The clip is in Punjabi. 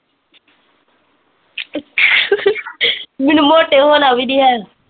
ਮੈਨੂੰ ਮੋਟੇ ਹੋਣਾ ਵੀ ਨੀ ਹੈਗਾ